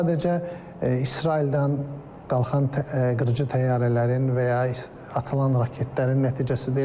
Sadəcə İsraildən qalxan qırıcı təyyarələrin və ya atılan raketlərin nəticəsidir.